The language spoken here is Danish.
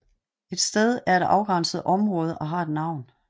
Et sted er et afgrænset område og har et navn